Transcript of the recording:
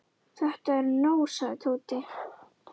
Þetta er nóg sagði Tóti.